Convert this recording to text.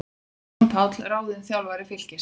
Jón Páll ráðinn þjálfari Fylkis